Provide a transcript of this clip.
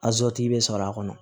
bɛ sɔrɔ a kɔnɔ